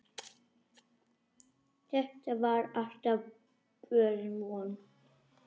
Það var alltaf borin von